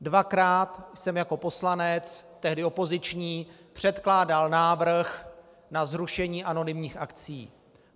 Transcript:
Dvakrát jsem jako poslanec, tehdy opoziční, předkládal návrh na zrušení anonymních akcií.